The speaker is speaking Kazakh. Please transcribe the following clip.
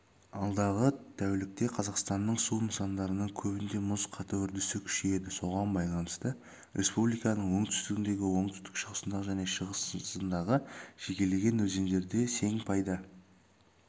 алдағы тәулікте қазақстанның су нысандарының көбінде мұз қату үрдісі күшейеді соған байланысты республиканың оңтүстігіндегі оңтүстік-шығысындағы және шығысындағы жекелеген өзендерде сең пайда